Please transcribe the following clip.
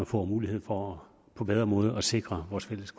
får mulighed for på bedre måde at sikre vores fælles